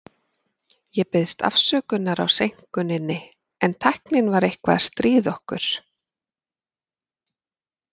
Ég biðst afsökunar á seinkuninni, en tæknin var eitthvað að stríða okkur.